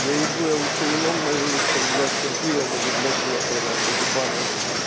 я ебу я лучши вином нажрусь чем блядском пивом или блять водкой на хуй ебаной